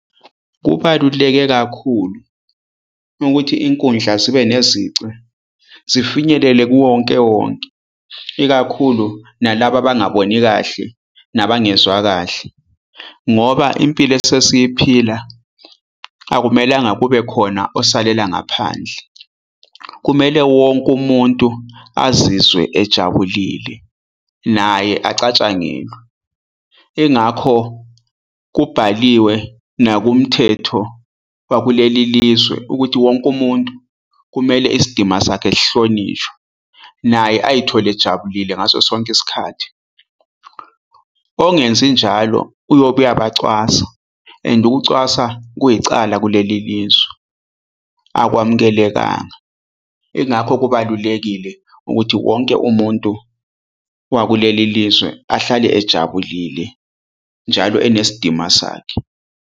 Kubaluleke kakhulu ukuthi inkundla zibe nezici zifinyelele kuwonkewonke, ikakhulu nalaba abangaboni kahle nabangezwa kahle ngoba impilo esesiyiphila akumelanga kube khona osalela ngaphandle. Kumele wonke umuntu azizwe ejabulile naye acatshangelwe. Ingakho kubhaliwe nakumthetho wakuleli lizwe ukuthi wonke umuntu kumele isidima sakhe sihlonishwe naye ayithole ejabulile ngaso sonke isikhathi. Ongenzi njalo uyobe uyabacwasa and ukucwasa kuyicala kuleli lizwe akwamukelekanga. Ingakho kubalulekile ukuthi wonke umuntu wakuleli lizwe ahlale ejabulile njalo enesidima sakhe